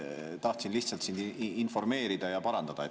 Tahtsin lihtsalt sind informeerida ja parandada.